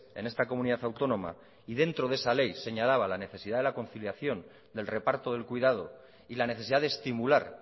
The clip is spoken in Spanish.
en esta comunidad autónoma y dentro de esa ley señalaba la necesidad de la conciliación del reparto del cuidado y la necesidad de estimular